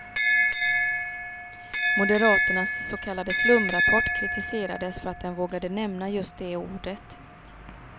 Moderaternas så kallade slumrapport kritiserades för att den vågade nämna just det ordet.